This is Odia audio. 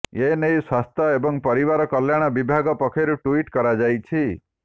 ଏନେଇ ସ୍ୱାସ୍ଥ୍ୟ ଏବଂ ପରିବାର କଲ୍ୟାଣ ବିଭାଗ ପକ୍ଷରୁ ଟ୍ୱିଟ୍ କରାଯାଇଛି